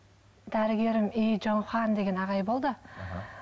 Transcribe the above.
дәрігерім деген ағай болды аха